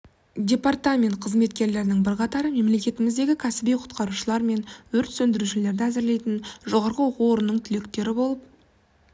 департамент қызметкерлерінің бірқатары мемлекетіміздегі кәсіби құтқарушылар мен өрт сөндірушілерді әзірлейтін жоғарғы оқу орнының түлектері болып